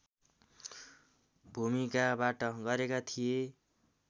भूमिकाबाट गरेका थिए